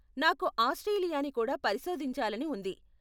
నాకు ఆస్ట్రేలియాని కూడా పరిశోధించాలని ఉంది.